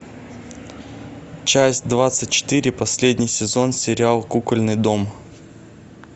часть двадцать четыре последний сезон сериал кукольный дом